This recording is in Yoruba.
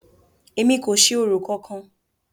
Èmi kò ṣe orò kankan!